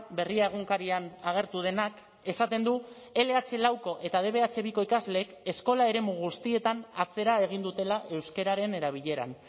berria egunkarian agertu denak esaten du ele hache lauko eta de be hache biko ikasleek eskola eremu guztietan atzera egin dutela euskararen erabileran